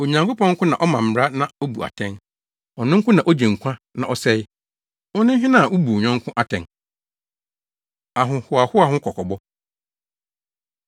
Onyankopɔn nko na ɔma mmara na obu atɛn. Ɔno nko na ogye nkwa na ɔsɛe. Wone hena a wubu wo yɔnko atɛn? Ahohoahoa Ho Kɔkɔbɔ